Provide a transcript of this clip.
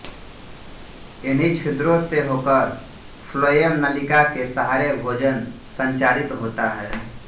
इन्हीं छिद्रों से होकर फ्लोएम नलिका के सहारे भोजन संचरित होता है